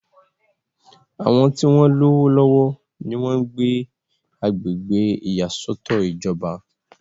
àwọn tí wọ́n lówó lọ́wọ́ ni wọ́n ń gbé agbègbè ìyàsọ́tọ̀ ìjọba